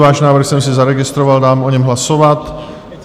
Váš návrh jsem si zaregistroval, dám o něm hlasovat.